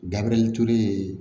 Gabiriyɛri ture ye